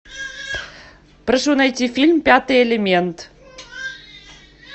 прошу найти фильм пятый элемент